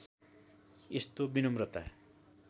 यस्तो विनम्रता